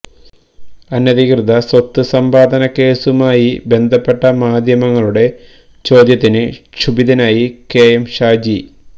അനധികൃത സ്വത്ത് സമ്പാദന കേസുമായി ബന്ധപ്പെട്ട മാധ്യമങ്ങളുടെ ചോദ്യത്തിന് ക്ഷുഭിതനായി കെ എം ഷാജി